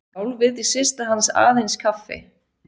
Sjálf vildi systir hans aðeins kaffi.